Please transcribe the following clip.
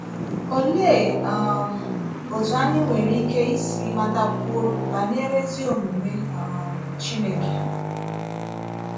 Òlee um otú anyị nwere ike ísì matakwuo banyere ezí omume um Chineke?